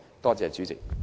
多謝主席。